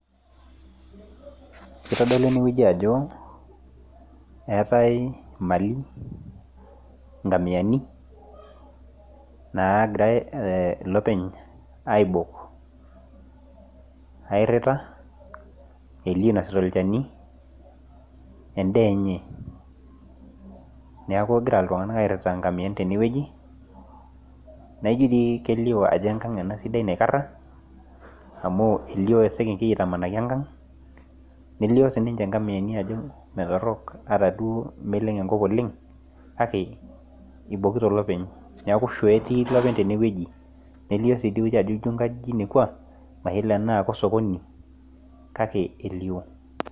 ketolu eneweji ajo etae imali engamiani nagirai ilepeny aibok, airita elioo inosita olchani edaa enye neeku egira iltung'anak airita, naijo dii kelio ajo enkang ena sidai naikara, amu elio esekengei itamanaki engang' nelio sii niche ingamiyani ajo metorok ataduoo naa meleng' enkop oleng' kake ibokito ilopeny neeku shoo etii ilopeny teneweji nelio sii idieweji ajo ijio inkajijik natii mayiolo tenaa kosokoni kake elio.